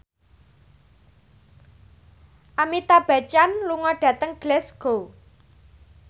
Amitabh Bachchan lunga dhateng Glasgow